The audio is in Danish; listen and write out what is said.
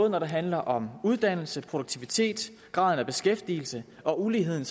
når det handler om uddannelse produktivitet og graden af beskæftigelse og uligheden